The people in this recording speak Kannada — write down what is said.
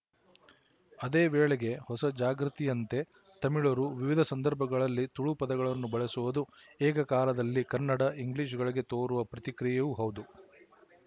ಅದೇ ವೇಳೆಗೆ ಹೊಸ ಜಾಗೃತಿಯಂತೆ ತಮಿಳರು ವಿವಿಧ ಸಂದರ್ಭಗಳಲ್ಲಿ ತುಳು ಪದಗಳನ್ನು ಬಳಸುವುದು ಏಕಕಾಲದಲ್ಲಿ ಕನ್ನಡ ಇಂಗ್ಲಿಶ‍ಗಳಿಗೆ ತೋರುವ ಪ್ರತಿಕ್ರಿಯೆಯೂ ಹೌದು